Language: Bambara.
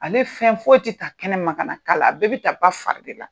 Ale fɛn foyi tɛ ta kɛnɛma ka na k'a la, a bɛɛ bɛ taa ba fari de la.